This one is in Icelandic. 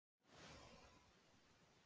Nei og mjög glöð með það.